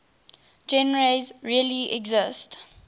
genres really exist